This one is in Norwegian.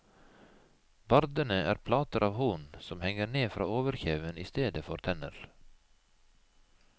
Bardene er plater av horn som henger ned fra overkjeven i stedet for tenner.